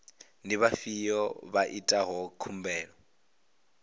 ndi vhafhio vha itaho khumbelo